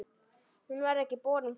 Hún var ekki borin fram.